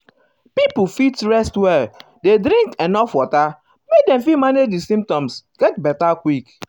um pipo fit rest well dey drink enuf water make dem fit manage di symptoms get beta quick.